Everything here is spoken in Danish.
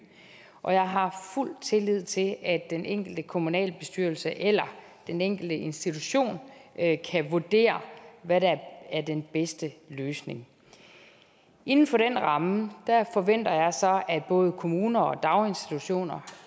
og jeg har fuld tillid til at den enkelte kommunalbestyrelse eller den enkelte institution kan vurdere hvad der er den bedste løsning inden for den ramme forventer jeg så at både kommuner og daginstitutioner